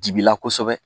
Dibila kosɛbɛ